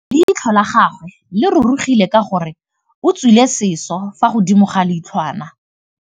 Leitlhô la gagwe le rurugile ka gore o tswile sisô fa godimo ga leitlhwana.